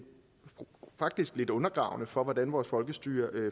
faktisk lidt undergravende for hvordan vores folkestyre